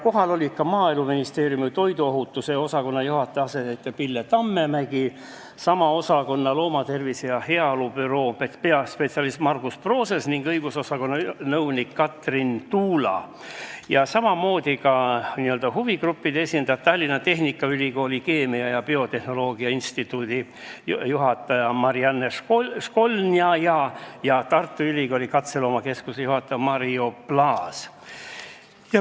Kohal olid ka Maaeluministeeriumi toiduohutuse osakonna juhataja asetäitja Pille Tammemägi, sama osakonna loomatervise ja -heaolu büroo peaspetsialist Margus Proses ning õigusosakonna nõunik Katrin Tuula, samuti huvigruppide esindajad, Tallinna Tehnikaülikooli keemia ja biotehnoloogia instituudi juhataja Marianna Školnaja ja Tartu Ülikooli katseloomakeskuse juhataja Mario Plaas.